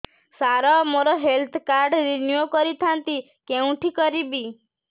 ସାର ମୋର health card renew କରିଥାନ୍ତି କେଉଁଠି କରିବି